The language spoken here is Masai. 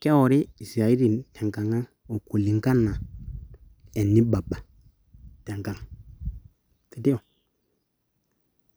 Kewori iisiaatin tenkang'ang okulinkana enibaba tenkang, sindio?